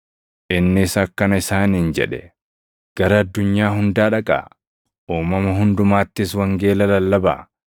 Innis akkana isaaniin jedhe; “Gara addunyaa hundaa dhaqaa; uumama hundumattis wangeela lallabaa.